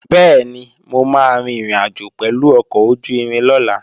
Bẹ́ẹ̀ni, mo máa rin ìrìnàjò pẹ̀lú ọkọ̀ ojú-irin lọ́la